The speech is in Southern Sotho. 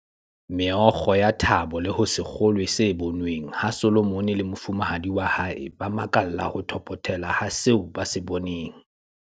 Meokgo ya thabo le ho se kgolwe se bonweng ha Solomon le mofumahadi wa hae ba makalla ho thopothela ha seo ba se boneng.